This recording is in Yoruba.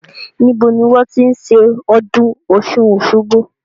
Níbo ni wọn ti ń ṣe ọdún Ọ̀sun-Osogbo?